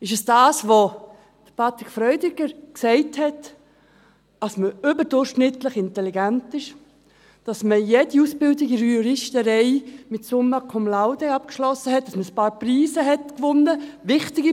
– Ist es das, was Patrick Freudiger gesagt hat, dass man überdurchschnittlich intelligent ist, dass man jede Ausbildung in der Juristerei mit «summa cum laude» abgeschlossen hat, dass man ein paar Preise gewonnen hat.